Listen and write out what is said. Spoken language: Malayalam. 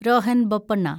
രോഹൻ ബൊപ്പണ്ണ